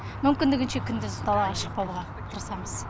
мүмкіндігінше күндіз далаға шықпауға тырысамыз